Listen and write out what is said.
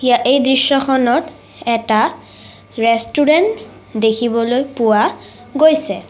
এই দৃশ্যখনত এটা ৰেষ্টোৰেন্ট দেখিবলৈ পোৱা গৈছে।